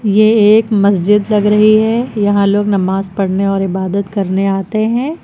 ये एक मस्जिद लग रही है यहां लोग नमाज पढ़ने और इबादत करने आते हैं।